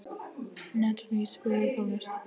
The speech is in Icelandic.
Natalie, spilaðu tónlist.